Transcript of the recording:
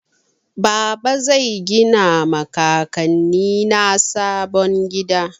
Baba zai gina ma kakanni na sabon gida.